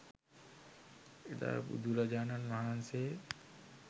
එදා බුදුරජාණන් වහන්සේ